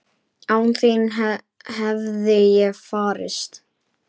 Án þín hefði ég farist?